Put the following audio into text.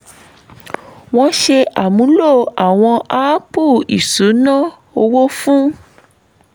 wọ́n ṣe àmúlò àwọn áàpù ìṣúná owó fún